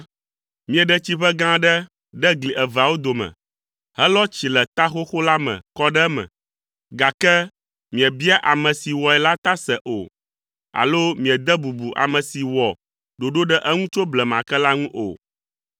Mieɖe tsiʋe gã aɖe ɖe gli eveawo dome, helɔ tsi le ta xoxo la me kɔ ɖe eme, gake miebia ame si wɔe la ta se o, alo miede bubu ame si wɔ ɖoɖo ɖe eŋu tso blema ke la ŋu o.